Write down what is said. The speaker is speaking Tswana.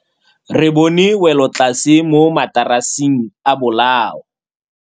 Re bone wêlôtlasê mo mataraseng a bolaô.